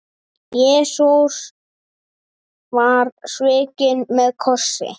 Jesús var svikinn með kossi.